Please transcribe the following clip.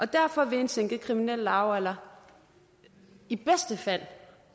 derfor vil en sænket kriminel lavalder i bedste fald